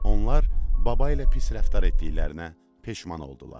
Onlar baba ilə pis rəftar etdiklərinə peşman oldular.